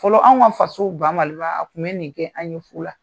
Fɔlɔ anw ka faso baMaliba tun bɛ nin kɛ an ye fu la.